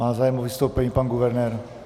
Má zájem o vystoupení pan guvernér.